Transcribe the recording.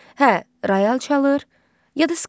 Hə, royal çalır, ya da skripka.